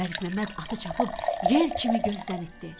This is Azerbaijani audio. Məlikməmməd atı çapıb yel kimi gözdən itdi.